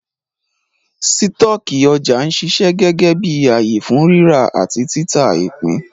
Sítọ̀kì ọjà ń ṣiṣẹ́ gẹ́gẹ́ bí ààyè fún ríra àti títà ìpín